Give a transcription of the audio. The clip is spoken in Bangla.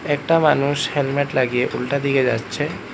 একটা মানুষ হেলমেট লাগিয়ে উল্টা দিকে যাচ্ছে।